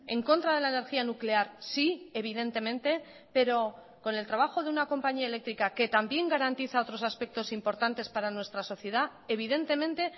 en contra de la energía nuclear sí evidentemente pero con el trabajo de una compañía eléctrica que también garantiza otros aspectos importantes para nuestra sociedad evidentemente